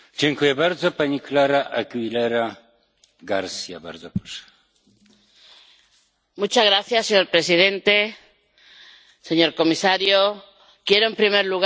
Señor presidente, señor comisario, quiero, en primer lugar, felicitar al señor Mato por el trabajo realizado —creo que es muy bueno-junto con los ponentes en la sombra.